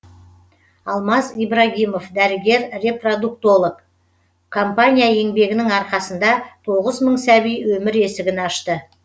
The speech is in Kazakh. алмаз ибрагимов дәрігер репродуктолог компания еңбегінің арқасында тоғыз мың сәби өмір есігін ашты